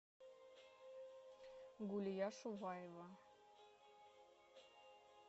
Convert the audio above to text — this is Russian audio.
гулия шуваева